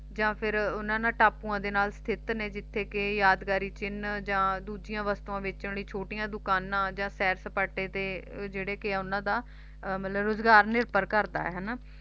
ਜਾਂ ਫਿਰ ਓਹਨਾ ਟਾਪੂਆਂ ਦੇ ਨਾਲ ਸਥਿਤ ਨੇ ਜਿਥੇ ਕੇ ਯਾਦਗਾਰੀ ਚਿੰਨ ਜਾਂ ਦੂਜਿਆਂ ਵਸਤੂਆਂ ਵੇਚਣ ਲਈ ਛੋਟੀਆਂ ਦੁਕਾਨਾਂ ਜਾਂ ਸੈਰ ਸਪਾਟੇ ਤੇ ਜਿਹੜਾ ਕੇ ਓਹਨਾ ਦਾ ਮਤਲਬ ਕੇ ਰੁਜਗਾਰ ਨਿਰਭਰ ਕਰਦਾ ਹਨਾ